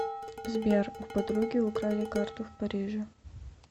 сбер у подруги украли карту в париже